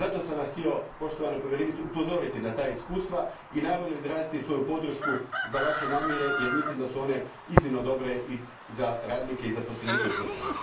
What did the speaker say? Zato sam vas htio, poštovana povjerenice, upozoriti na ta iskustva i naravno, izraziti svoju podršku za vaše namjere, jer mislim da su one iznimno dobre za radnike i zaposlenike u tvrtkama.